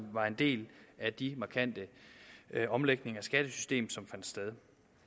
var en del af de markante omlægninger af skattesystemet som fandt sted